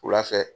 Wula fɛ